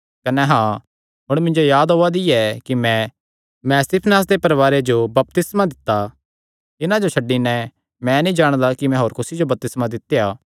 कने हाँ हुण मिन्जो याद ओआ दी ऐ कि मैं स्तिफनास दे परवारे जो भी बपतिस्मा दित्ता इन्हां जो छड्डी नैं मैं नीं जाणदा कि मैं होर कुसी जो बपतिस्मा दित्या